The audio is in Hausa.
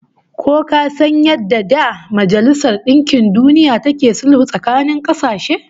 Ko ka san yadda da Majalisar Dinkin Duniya take sulhu tsakanin kasashe?